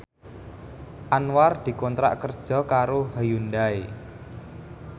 Anwar dikontrak kerja karo Hyundai